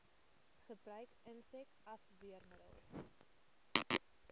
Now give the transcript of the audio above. gebruik insek afweermiddels